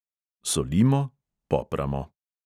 Solimo, popramo.